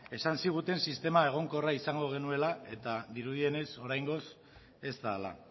esan ziguten sistema egonkorra izango genuela eta dirudienez oraingoz ez da hala